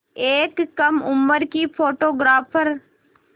एक कम उम्र की फ़ोटोग्राफ़र